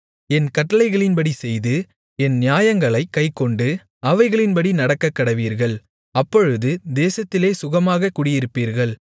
என் கட்டளைகளின்படி செய்து என் நியாயங்களைக் கைக்கொண்டு அவைகளின்படி நடக்கக்கடவீர்கள் அப்பொழுது தேசத்திலே சுகமாகக் குடியிருப்பீர்கள்